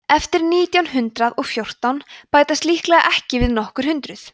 eftir nítján hundrað og fjórtán bætast líklega við nokkur hundruð